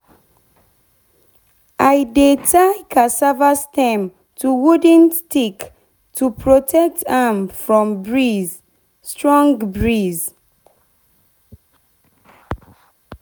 i dey tie cassava stem to wooden to protect am from strong breeze.